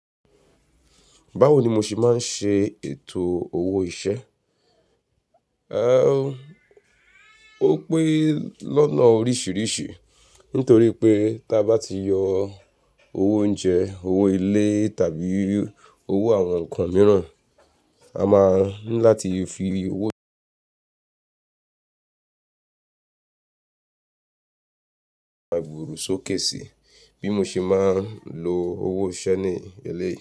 Báwo ni mo ṣe máa ń ṣe ètò owó ìṣe? Ẹ, ó pé lọ́nà oríṣiríṣi nítorí pé tí a bá ti yọ owó oúnjẹ, owó ilé tàbí owó àwọn ǹkan mìíràn, a máa ń láti fi owó ń ṣe àgbèrò sókèsì bí mo ṣe máa ń lo owó iṣẹ́ ní eléyìí.